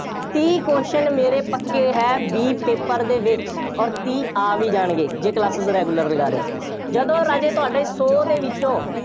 ਤੀਹ question ਮੇਰੇ ਪੱਕੇ ਹੈ, B paper ਦੇ ਵਿੱਚ ਅੋਰ ਤੀਹ ਆ ਵੀ ਜਾਣਗੇ, ਜੇ classes regular ਲਗਾ ਰਹੇ ਹੋ। ਜਦੋਂ ਰਾਜੇ ਤੁਹਾਡੇ ਸੌ ਦੇ ਵਿੱਚੋਂ,